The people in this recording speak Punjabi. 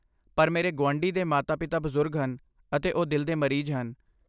ਪਰ ਮੇਰੇ ਗੁਆਂਢੀ ਦੇ ਮਾਤਾ ਪਿਤਾ ਬਜ਼ੁਰਗ ਹਨ ਅਤੇ ਉਹ ਦਿਲ ਦੇ ਮਰੀਜ਼ ਹਨ